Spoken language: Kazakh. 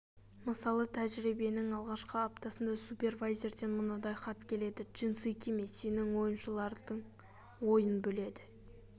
мысалы тәжірибенің алғашқы аптасында супервайзерден мынадай хат келеді джинсы киме сенің ойыншылардың ойын бөледі